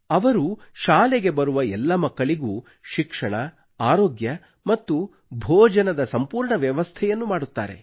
ಅವರು ಶಾಲೆಗೆ ಬರುವ ಎಲ್ಲಾ ಮಕ್ಕಳಿಗೂ ಶಿಕ್ಷಣ ಅರೋಗ್ಯ ಮತ್ತು ಭೋಜನದ ಸಂಪೂರ್ಣ ವ್ಯವಸ್ಥೆಯನ್ನು ಮಾಡುತ್ತಾರೆ